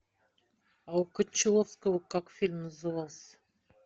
а у кончаловского как фильм назывался